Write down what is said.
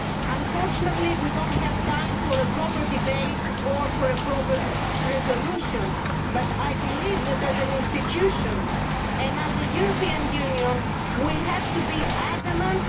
Unfortunately, we do not have time for a proper debate or for a proper resolution, but I believe that as an institution and as a European Union we have to be adamant.